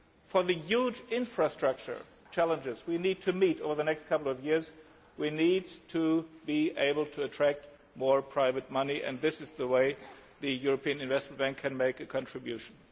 For the huge infrastructure challenges to be met over the next couple of years we need to be able to attract more private money and this is how the European Investment Bank can make a contribution.